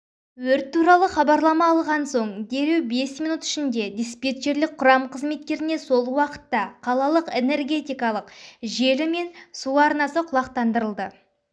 өрт туралы хабарлама алған соң дереу бес минут ішінде диспетчерлік құрам қызметтеріне сол уақытта қалалық энергетикалық желі мен су арнасы құлақтандырылды